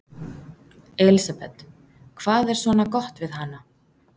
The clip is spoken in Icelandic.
Elísabet: Hvað er svona gott við hana?